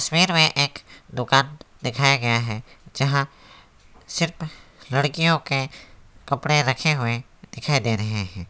Main में एक दुकान दिखाया गया है जहां सिर्फ लड़कियों के कपड़े रखे हुए दिखाई दे रहे हैं।